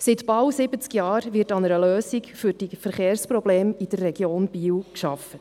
Seit bald siebzig Jahren wird an einer Lösung für die Verkehrsprobleme in der Region Biel gearbeitet.